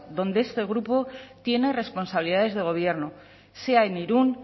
donde este grupo tiene responsabilidades de gobierno sea en irún